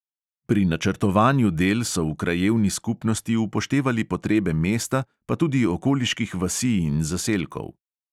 Pri načrtovanju del so v krajevni skupnosti upoštevali potrebe mesta, pa tudi okoliških vasi in zaselkov.